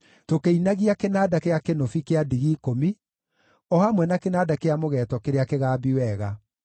tũkĩinagia kĩnanda gĩa kĩnũbi kĩa ndigi ikũmi, o hamwe na kĩnanda kĩa mũgeeto kĩrĩa kĩgambi wega.